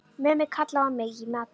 Mummi kallaði á mig í matinn.